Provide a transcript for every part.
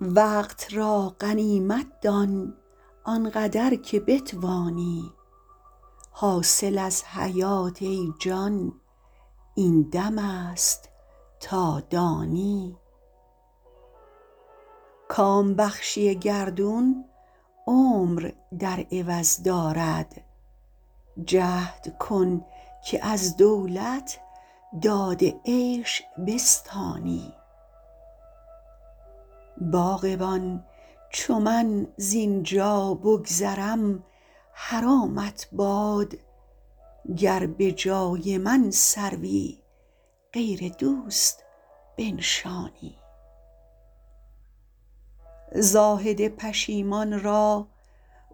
وقت را غنیمت دان آن قدر که بتوانی حاصل از حیات ای جان این دم است تا دانی کام بخشی گردون عمر در عوض دارد جهد کن که از دولت داد عیش بستانی باغبان چو من زین جا بگذرم حرامت باد گر به جای من سروی غیر دوست بنشانی زاهد پشیمان را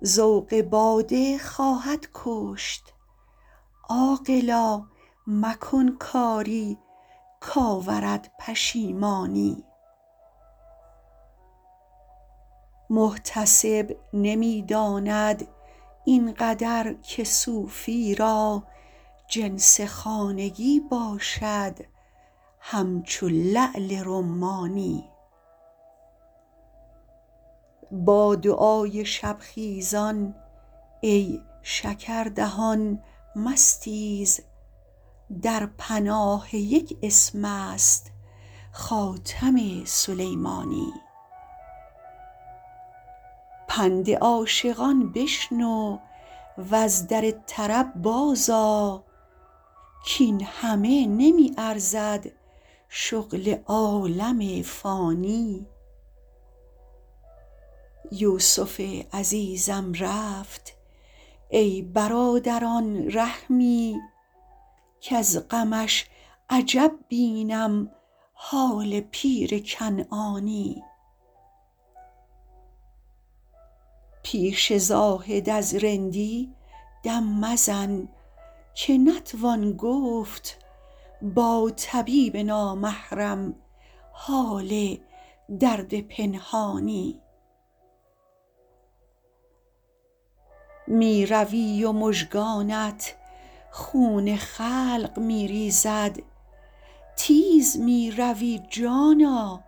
ذوق باده خواهد کشت عاقلا مکن کاری کآورد پشیمانی محتسب نمی داند این قدر که صوفی را جنس خانگی باشد همچو لعل رمانی با دعای شب خیزان ای شکردهان مستیز در پناه یک اسم است خاتم سلیمانی پند عاشقان بشنو و از در طرب بازآ کاین همه نمی ارزد شغل عالم فانی یوسف عزیزم رفت ای برادران رحمی کز غمش عجب بینم حال پیر کنعانی پیش زاهد از رندی دم مزن که نتوان گفت با طبیب نامحرم حال درد پنهانی می روی و مژگانت خون خلق می ریزد تیز می روی جانا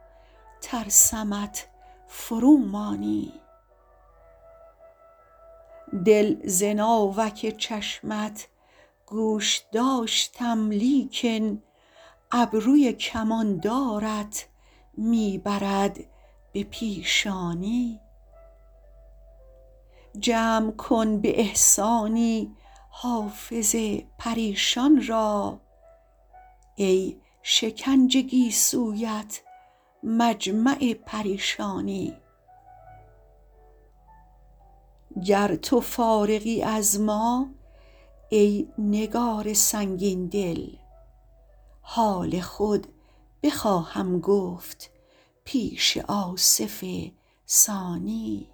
ترسمت فرومانی دل ز ناوک چشمت گوش داشتم لیکن ابروی کماندارت می برد به پیشانی جمع کن به احسانی حافظ پریشان را ای شکنج گیسویت مجمع پریشانی گر تو فارغی از ما ای نگار سنگین دل حال خود بخواهم گفت پیش آصف ثانی